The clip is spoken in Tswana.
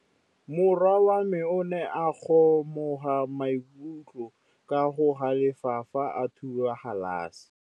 Morwa wa me o ne a kgomoga maikutlo ka go galefa fa a thuba galase.